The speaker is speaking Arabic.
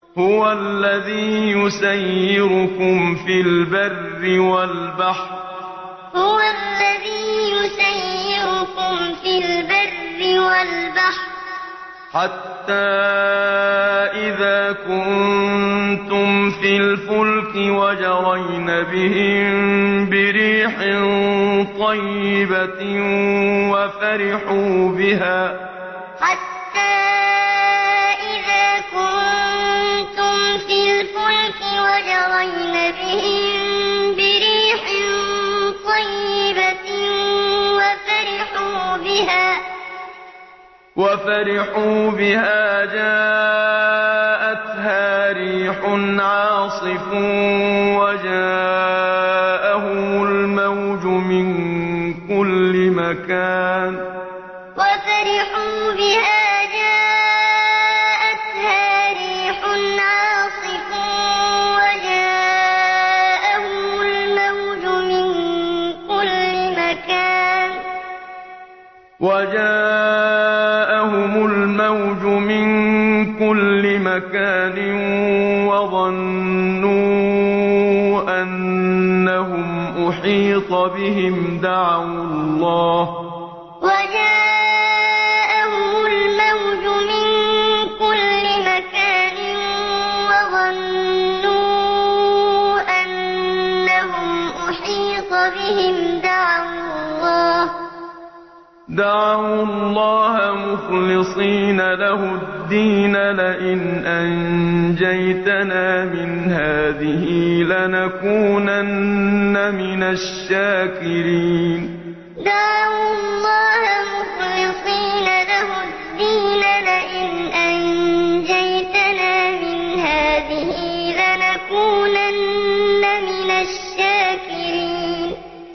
هُوَ الَّذِي يُسَيِّرُكُمْ فِي الْبَرِّ وَالْبَحْرِ ۖ حَتَّىٰ إِذَا كُنتُمْ فِي الْفُلْكِ وَجَرَيْنَ بِهِم بِرِيحٍ طَيِّبَةٍ وَفَرِحُوا بِهَا جَاءَتْهَا رِيحٌ عَاصِفٌ وَجَاءَهُمُ الْمَوْجُ مِن كُلِّ مَكَانٍ وَظَنُّوا أَنَّهُمْ أُحِيطَ بِهِمْ ۙ دَعَوُا اللَّهَ مُخْلِصِينَ لَهُ الدِّينَ لَئِنْ أَنجَيْتَنَا مِنْ هَٰذِهِ لَنَكُونَنَّ مِنَ الشَّاكِرِينَ هُوَ الَّذِي يُسَيِّرُكُمْ فِي الْبَرِّ وَالْبَحْرِ ۖ حَتَّىٰ إِذَا كُنتُمْ فِي الْفُلْكِ وَجَرَيْنَ بِهِم بِرِيحٍ طَيِّبَةٍ وَفَرِحُوا بِهَا جَاءَتْهَا رِيحٌ عَاصِفٌ وَجَاءَهُمُ الْمَوْجُ مِن كُلِّ مَكَانٍ وَظَنُّوا أَنَّهُمْ أُحِيطَ بِهِمْ ۙ دَعَوُا اللَّهَ مُخْلِصِينَ لَهُ الدِّينَ لَئِنْ أَنجَيْتَنَا مِنْ هَٰذِهِ لَنَكُونَنَّ مِنَ الشَّاكِرِينَ